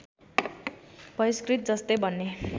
बहिष्कृत जस्तै बने